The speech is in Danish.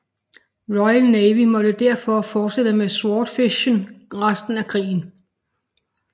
Royal Navy måtte derfor fortsætte med Swordfishen resten af krigen